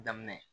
Daminɛ